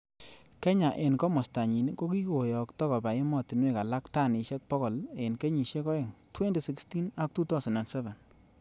Kenya en komostanyin, kokiyokto koba emotinwek alak tanisiek bogol en kenyisiek oeng:2016 ak 2007.